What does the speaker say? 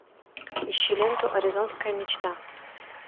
ищи ленту аризонская мечта